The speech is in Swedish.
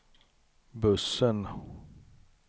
bussen